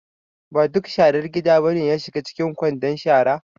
Ba duk sharar gida ba ne ya shiga cikin kwandon shara.